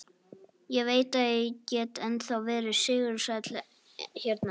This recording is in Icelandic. Ég veit að ég get ennþá verið sigursæll hérna.